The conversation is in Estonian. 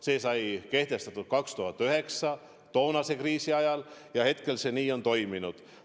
See sai kehtestatud 2009 toonase kriisi ajal ja seni see nii on toiminud.